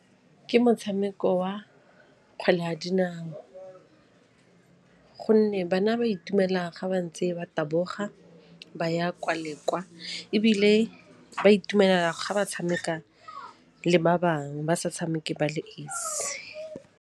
Ke motshameko wa kgwele ya dinao gonne bana ba itumela ga ba ntse ba taboga ba ya kwa le kwa ebile ba itumelela ga ba tshameka le ba bangwe ba sa tshameke ba le esi.